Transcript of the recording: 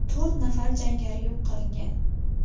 To‘rt nafar jangari yo‘q qilingan.